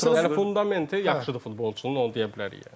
Sadəcə məsələ fundamenti yaxşıdır futbolçunun, onu deyə bilərik.